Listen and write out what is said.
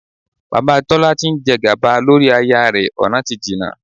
Bàbá Tọ́lá tí ń jẹ gàba lórí aya rẹ ọ̀nà ti nà.